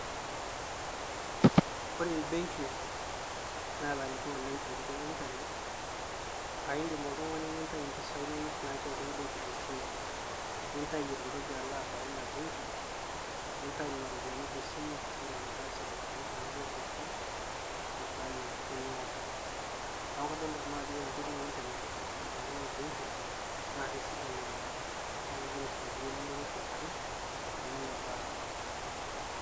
Ore enbenki natereto oleng tenkoitoi eintanet, aa indim oltungani nintayu mpisai inono naati atua benki tesimu, nitayu eton etu ilabaya ina benki nitayu nena ropiani tesimu nindim atasie matumizi ino duo pooki, neba ena duo niata niaku kadolta nnau ajo ore enkoitoi eitanet eboita obenki na keisidai oleng naa kengira aisaidia elelero pooki tonena baa.